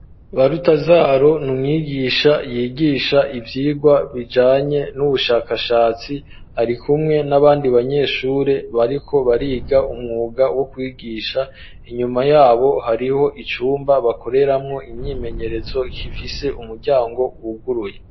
Barutazaro n'umwigisha yigisha ivyigwa bijanye n'ubushakashatsi, arikumwe n'abandi banyeshuri bariko bariga umwuga wo kwigisha, inyuma yabo hariho icumba bakoreramwo imyimenyerezo kifise umuryango wuguruye.